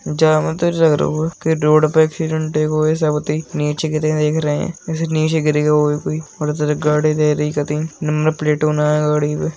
के रोड पे एक्सीडेंट हेगो है सब देख नीचे गिर गए देख रहे जैसे नीचे गिर गयो होय कोई कती नंबर प्लेट ऊ नाय गाड़ी पे।